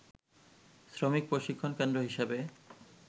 শ্রমিক প্রশিক্ষণ কেন্দ্র হিসেবে